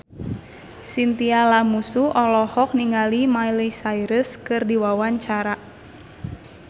Chintya Lamusu olohok ningali Miley Cyrus keur diwawancara